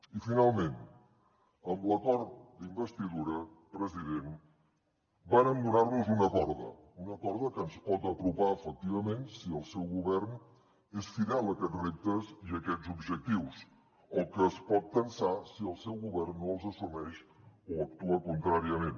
i finalment amb l’acord d’investidura president vàrem donar nos una corda una corda que ens pot apropar efectivament si el seu govern és fidel a aquests reptes i aquests objectius o que es pot tensar si el seu govern no els assumeix o hi actua contràriament